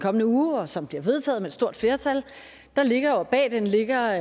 kommende uge og som bliver vedtaget med et stort flertal ligger